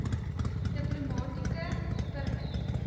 diplomatieke permit